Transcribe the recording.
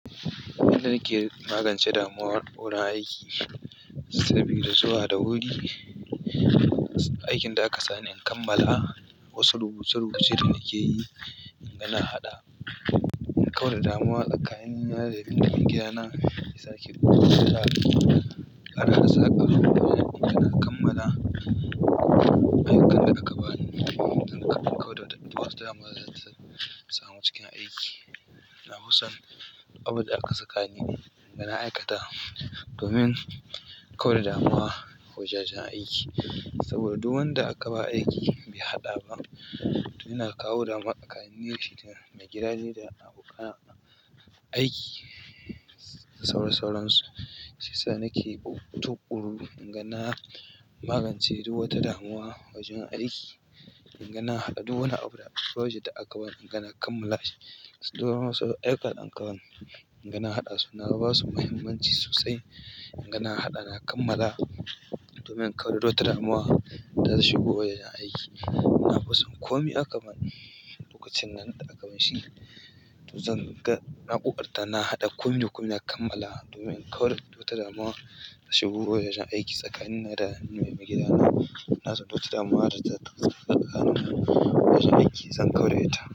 Abin da nake magance damuwar wurin aiki saboda zuwa da wuri aikin da aka sani in kammala. Wasu rubuce-rubuce da nake yi in ga na haɗa, in kauda damuwa tsakani ni da mai gida na isa ke buɗe suna. Kar na saba harba ina kammala ayyukan da aka bani. Zan kaɓe kauda duk wata damuwa zata samu cikin aiki. Na fi son duk abunda aka sakani in ga na aikata domin kauda damuwa a wajen aiki saboda duk wanda aka ba aiki bai haɗa ba, yana kawo damuwa tsakanin shi da mai gida ne da abokan aiki. Sauran sauransu, sai sa nake tuƙuru inga na magance duk wata damuwa wajen aiki. Inga na haɗa duk wani abu da frojet da aka bani, inga na kammala shi. Duk wani wasu ayyuka da aka ban, in ga na haɗa su na basu mahimmanci sosai, in ga na haɗa, na kammala domin in kauda duk wata damuwa da zai shigo yayin aiki na fi son komai aka bani, lokacin nan da aka bani shi, to zan ga na ƙoƙarta. Na haɗa komi da komi, na kammala domin in ƙaura duk wata damuwa ta shubu wajen aiki tsakani ni da mai gida na. Na zo duk wata damuwa zata samu a ƙanana wajen aiki, zan ƙaura ita.